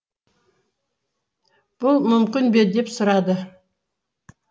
бұл мүмкін бе деп сұрады